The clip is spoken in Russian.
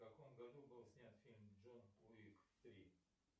в каком году был снят фильм джон уик три